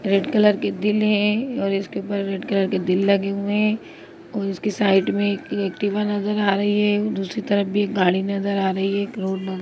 red colour के दिल है और इसके ऊपर रेड कलर के दिल लगे हुए है और इसके साइड में एक नजर आ रही है दूसरी तरफ भी एक गाड़ी नजर आ रही है एक रोड --